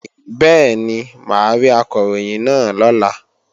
Bẹ́ẹ̀ni, mà á rí Akọ̀ròyìn náà lọ́la